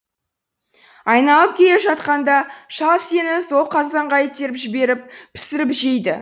айналып келе жатқанда шал сені сол қазанға итеріп жіберіп пісіріп жейді